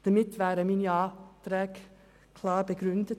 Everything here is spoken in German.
Damit sind meine Anträge klar begründet.